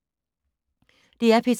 DR P3